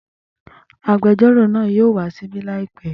Agbẹjọ́rò náà yóò wá ṣíbí làìpẹ́